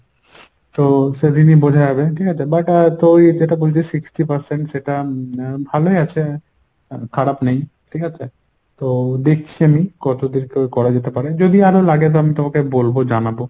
তো সেদিনই বোঝা যাবে ঠিকাছে but আহ তুই যেটা বলছিস sixty percent সেটা ভালোই আছে খারাপ নেই। ঠিকাছে তো দেখছি আমি কতদূর কী করা যেতে পারে যদি আরো লাগে তো আমি তোমাকে বলবো জানাবো।